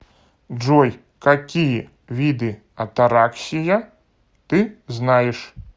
джой какие виды атараксия ты знаешь